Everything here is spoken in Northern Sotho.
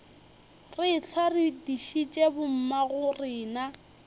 re ehlwa re dišitše bommagorena